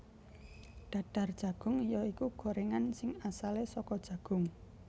Dadar Jagung ya iku gorengan sing asale saka jagung